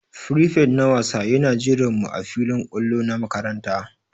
Firifet na wasa Yana jiran mu ã filin kwallo na makaranta.